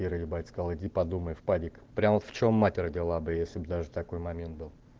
ира ебать сказала иди подумай в падик прямо в чем мать родила бы если б даже такой момент был